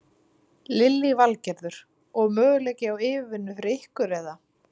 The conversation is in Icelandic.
Lillý Valgerður: Og möguleiki á yfirvinnu fyrir ykkur eða?